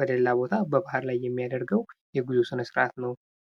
ወደላ ቦታ በባህር ላይ የሚያደርገው የጉዞ ስነስርአት ነው።